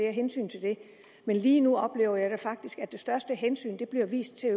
og hensyn til det men lige nu oplever jeg faktisk at det største hensyn bliver vist til